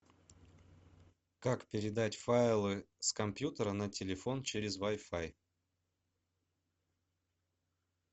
как передать файлы с компьютера на телефон через вай фай